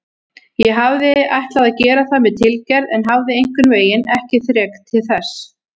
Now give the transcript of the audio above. Ég hafði ætlað að gera það með tilgerð en hafði einhvernveginn ekki þrek til þess.